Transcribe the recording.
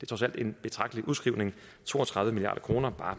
trods alt en betragtelig udskrivning to og tredive milliard kroner bare